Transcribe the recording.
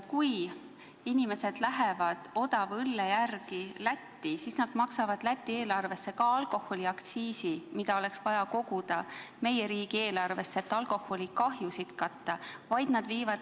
Kui inimesed sõidavad Lätti odava õlle järele, siis nad maksavad alkoholiaktsiisi Läti eelarvesse, kuigi seda raha oleks vaja koguda meie riigieelarvesse, et alkoholist põhjustatud kahjusid katta.